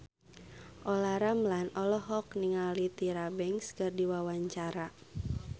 Olla Ramlan olohok ningali Tyra Banks keur diwawancara